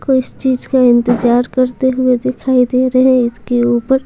को इस चीज का इंतजार करते हुए दिखाई दे रहे हैं इसके ऊपर--